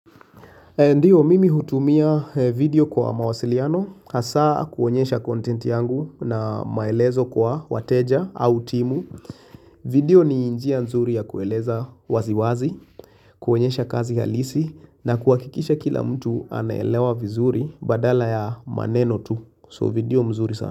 Ndiyo mimi hutumia video kwa mawasiliano, hasa kuonyesha content yangu na maelezo kwa wateja au timu. Video ni njia nzuri ya kueleza wazi wazi, kuonyesha kazi halisi na kuakikisha kila mtu anaelewa vizuri badala ya maneno tu. So video mzuri sana.